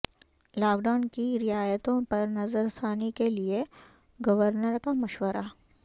lock down کی رعایتوں پر نظرثانی کیلئے گورنر کا مشورہ